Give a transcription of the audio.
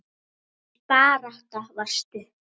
Hans barátta var stutt.